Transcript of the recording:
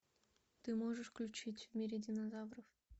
ты можешь включить в мире динозавров